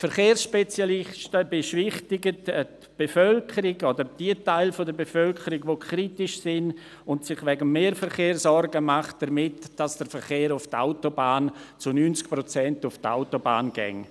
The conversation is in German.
Die Verkehrsspezialisten beschwichtigen die Bevölkerung oder diejenigen Teile der Bevölkerung, die kritisch sind und sich wegen des Mehrverkehrs sorgen, damit, dass der Verkehr zu 90 Prozent auf die Autobahn gehe.